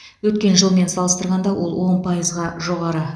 өткен жылмен салыстырғанда ол он пайызға жоғары